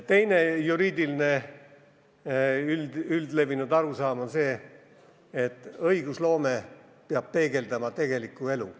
Teine üldlevinud juriidiline arusaam on see, et õigusloome peab peegeldama tegelikku elu.